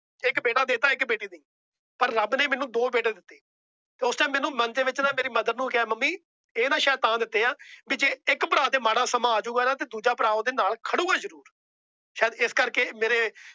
ਇੱਕ ਬੇਟਾ ਦੇਤਾ ਇੱਕ ਬੇਟੀ ਦੀ । ਪਰ ਰੱਬ ਨੇ ਮੈਨੂੰ ਦੋ ਬੇਟੇ ਦਿੱਤੇ। ਉਸ Time ਮੇਰੇ ਮਨ ਦੇ ਵਿੱਚ ਨਾ ਮੇਰੀ Mother ਨੂੰ ਕਿਹਾ ਮੰਮੀ ਇਹ ਨਾ ਸ਼ਾਇਦ ਤਾਂ ਦਿੱਤੇ ਏ। ਜੇ ਇੱਕ ਭਰਾ ਤੇ ਮਾੜਾ ਸਮਾਂ ਆਜੂੰਗਾ ਤਾ ਦੂਜਾ ਭਰਾ ਉਹਂਦੇ ਨਾਲ ਖੜੂਗਾ ਜਰੂਰ। ਸ਼ਹੀਦ ਇਸ ਕਰਕੇ ਮੇਰੇ